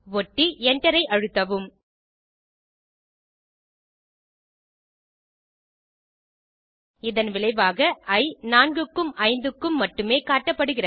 ஒட்டி Enter ஐ அழுத்தவும் இதன் விளைவாக இ 4 க்கும் 5 க்கும் மட்டுமே காட்டப்படுகிறது